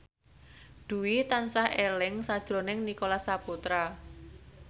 Dwi tansah eling sakjroning Nicholas Saputra